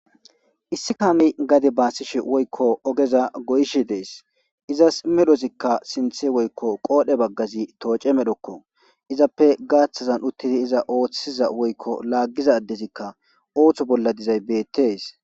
issi kaami gadi baasishe woykko ogeza goyishe dees izas medhozikka sinthe woykko qoodhe baggazi tooce medhokko izappe gaaththazan uttidi iza ooththiza woykko laaggiza ddezikka ooththo bolla dizay beettes